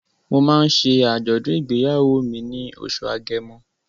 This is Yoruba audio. Mo máa ń ṣe àjọ̀dùn ìgbéyàwó mi ní oṣù Agẹmọ.